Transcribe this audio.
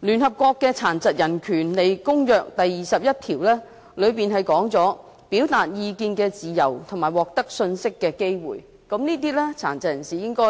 聯合國《殘疾人權利公約》第二十一條是有關"表達意見的自由及獲得信息的機會"，該條指出殘疾人士應該